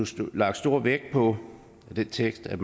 lagt stor vægt på i den tekst at